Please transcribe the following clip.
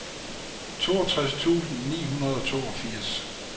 toogtres tusind ni hundrede og toogfirs